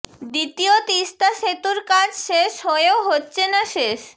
দ্বিতীয় তিস্তা সেতুর কাজ শেষ হয়েও হচ্ছে না শেষ